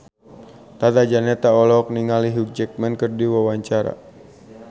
Tata Janeta olohok ningali Hugh Jackman keur diwawancara